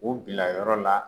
O bilayɔrɔ la